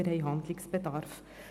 Wir haben Handlungsbedarf.